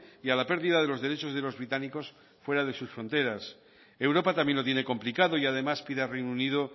y a la pérdida de los derechos de los británicos fuera de sus fronteras europa también lo tiene complicado y además pide reino unido